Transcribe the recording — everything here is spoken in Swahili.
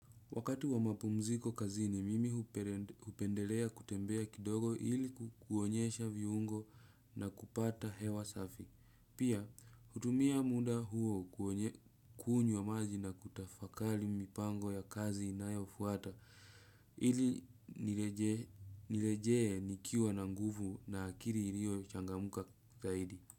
Wakati wa mapumziko kazini, mimi hupendelea kutembea kidogo iliku kuonyesha viungo na kupata hewa safi. Pia, hutumia muda huo kuonye kunywa maji na kutafakali mipango ya kazi inayofuata ili nirejee nikiwa na nguvu na akili ilio changamka zaidi.